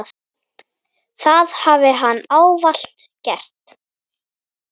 Það hafi hann ávallt gert.